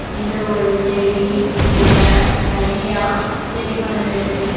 இது ஒரு செடி. இங்க நறைய செடி வளந்துருக்கு.